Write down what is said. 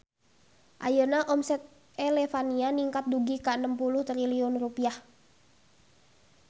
Ayeuna omset Elevania ningkat dugi ka 60 triliun rupiah